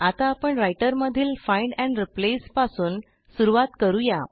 आता आपण रायटर मधील फाइंड एंड रिप्लेस पासून सुरूवात करू या